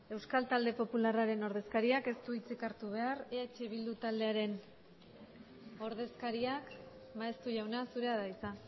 euskal talde popularraren ordezkariak ez du hitzik hartu behar eh bildu taldearen ordezkariak maeztu jauna zurea da hitza